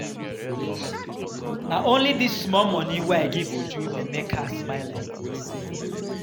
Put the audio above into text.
Na only dis small money wey I give Uju dey make her smile like dis?